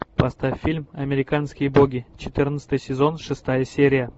поставь фильм американские боги четырнадцатый сезон шестая серия